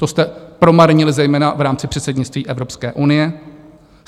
To jste promarnili zejména v rámci předsednictví Evropské unii.